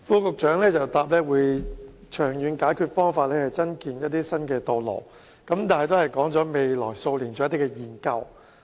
局長在答覆中表示，長遠解決方法包括增建一些新道路，但只表示會在未來數年進行研究。